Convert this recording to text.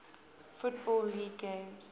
football league games